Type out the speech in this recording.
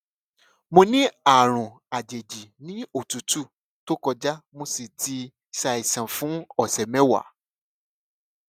mo ní àrùn àjèjì ní òtútù tó kọjá mo sì ti ṣàìsàn fún ọsẹ mẹwàá